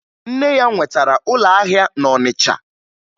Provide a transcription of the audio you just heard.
Nne ya nwetara ụlọahịa na Ọnịcha